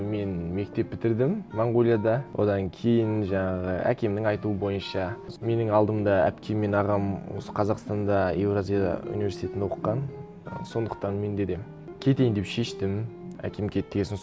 мен мектеп бітірдім монғолияда одан кейін жаңағы әкемнің айтуы бойынша менің алдымда әпкем мен ағам осы қазақстанда еуразия университетін оқыған сондықтан менде де кетейін деп шештім әкем кет деген соң